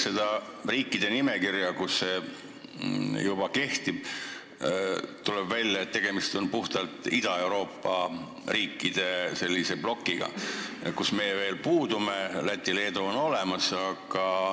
Kui vaadata riikide nimekirja, kus see asi juba kehtib, tuleb välja, et tegemist on puhtalt Ida-Euroopa riikide blokiga, kust meie puudume, Läti ja Leedu on olemas.